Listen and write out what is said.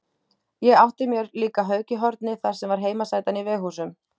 Ég átti mér líka hauk í horni þar sem var heimasætan í Veghúsum